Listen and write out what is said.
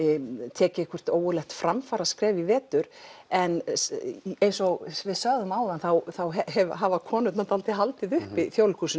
takið ógurlegt framfaraskref í vetur en eins og við sögðum áðan þá hafa konurnar dálítið haldið uppi Þjóðleikhúsinu